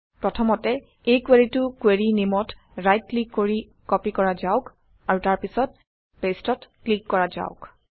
প্ৰথমতে এই কুৱেৰিটো কুৱেৰি নেমত ৰাইট ক্লিক কৰি কপি কৰা যাওক আৰু তাৰপিছত পেষ্টত ক্লিক কৰা যাওক